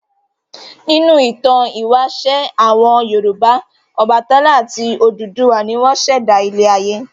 Nínú ìtàn ìwáṣẹ̀ àwọn Yorùbá Ọbàtálá àti Odùduwà ni wọ́n ṣẹ̀dá ilé-ayé.